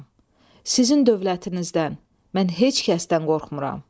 Sizin dövlətinizdən, mən heç kəsdən qorxmuram.